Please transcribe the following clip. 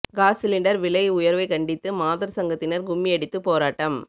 cos cylinder விலை உயர்வை கண்டித்து மாதர் சங்கத்தினர் கும்மியடித்து போராட்டம்